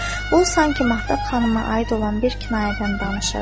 O sanki Mahtab xanıma aid olan bir kinayədən danışırdı.